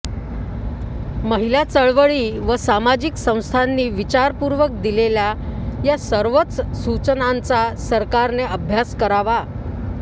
महिला चळवळी व सामाजिक संस्थांनी विचारपूर्वक दिलेल्या या सर्वच सूचनांचा सरकारने अभ्यास करावा